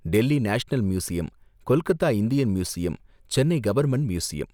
Delhi national museum, Kolkata Indian museum, Chennai government museum.